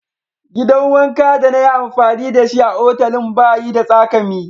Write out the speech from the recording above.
Gidan wanka de na yi amfani da shi a'otelin ba yi da tsakami.